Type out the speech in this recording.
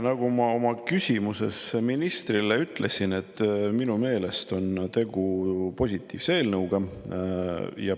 Nagu ma oma küsimuses ministrile ütlesin, minu meelest on tegu positiivse eelnõuga.